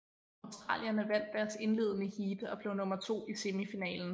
Australierne vandt deres indledende heat og blev nummer to i semifinalen